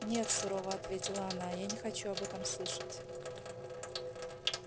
нет сурово ответила она я не хочу об этом слышать